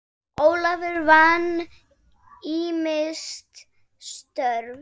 Ólafur vann ýmis störf.